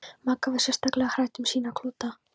Magga var sérstaklega hrædd um sína klúta.